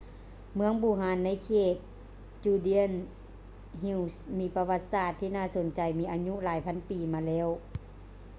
ເມືອງບູຮານໃນເຂດ judean hills ມີປະຫວັດສາດທີ່ໜ້າສົນໃຈມີອາຍຸຫຼາຍພັນປີມາແລ້ວ